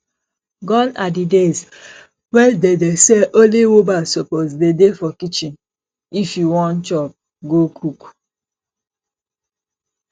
gone are the days when dey dey say only woman suppose dey dey for kitchen if you wan chop go cook